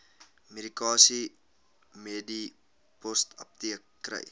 medikasie medipostapteek kry